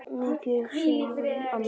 Mikið varstu rík amma.